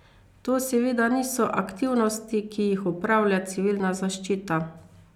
To seveda niso aktivnosti, ki jih opravlja civilna zaščita.